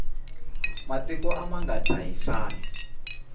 matiko a ma nga dzahisani